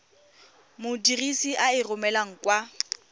modirisi a e romelang kwa